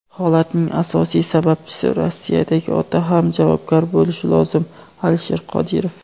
Holatning asosiy sababchisi - Rossiyadagi ota ham javobgar bo‘lishi lozim – Alisher Qodirov.